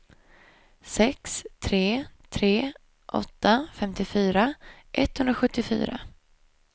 sex tre tre åtta femtiofyra etthundrasjuttiofyra